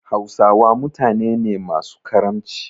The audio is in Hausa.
Hausawa mutane ne masu karamci.